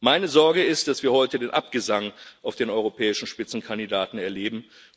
Meine Sorge ist, dass wir heute den Abgesang auf den europäischen Spitzenkandidaten erleben.